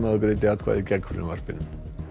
greiddi atkvæði gegn frumvarpinu